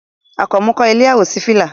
Àkànmú kọ́ ilé àwòṣífìlà